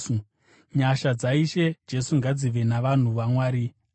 Nyasha dzaIshe Jesu ngadzive navanhu vaMwari. Ameni.